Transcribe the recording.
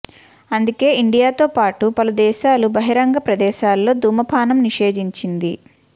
అందుకే ఇండియాతో పాటు పలు దేశాలు బహిరంగ ప్రదేశాల్లో దుమపానం నిషిదించింది